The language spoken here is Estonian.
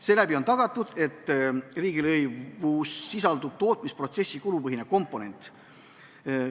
Seeläbi on tagatud, et riigilõivus sisaldub tootmisprotsessi kulupõhine komponent.